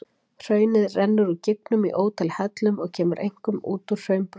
Hraunið rennur úr gígnum í ótal hellum og kemur einkum út úr þeim í hraunbrúninni.